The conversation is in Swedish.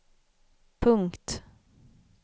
punkt